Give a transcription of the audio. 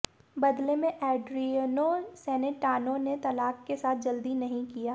बदले में Adriano Celentano ने तलाक के साथ जल्दी नहीं किया